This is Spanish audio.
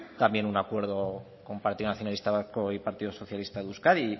también un acuerdo con partido nacionalista vasco y partido socialista de euskadi